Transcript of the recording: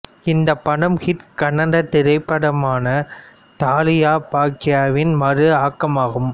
இந்த படம் ஹிட் கன்னட திரைப்படமான தாலியா பாக்யாவின் மறுஆக்கமாகும்